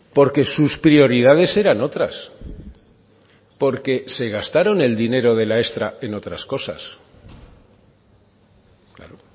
porque sus prioridades eran otras porque se gastaron el dinero de la extra en otras cosas claro